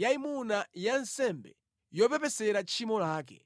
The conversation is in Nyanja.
yayimuna ya nsembe yopepesera tchimo lake.